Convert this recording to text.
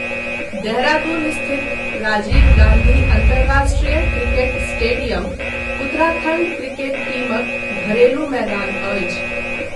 देहरादून स्थित राजीव गाँधी अन्तर्राष्ट्रिय cricket stadium Uttarakhand cricket टीमक घरेलु मैदान अछि।